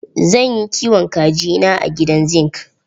Zan yi kiwon kaji na a gidan zingi.